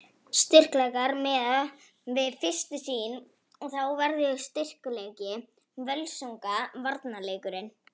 Styrkleikar: Miðað við fyrstu sýn þá verður styrkleiki Völsunga varnarleikurinn.